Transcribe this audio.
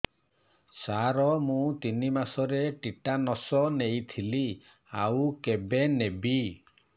ସାର ମୁ ତିନି ମାସରେ ଟିଟାନସ ନେଇଥିଲି ଆଉ କେବେ ନେବି